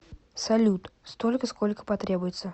салют столько сколько потребуется